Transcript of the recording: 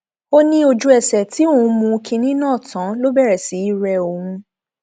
ó ní ojúẹsẹ tí òun mú kinní náà tán ló bẹrẹ sí í rẹ òun